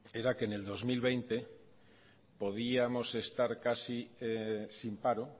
era que en el dos mil veinte podíamos estar casi sin paro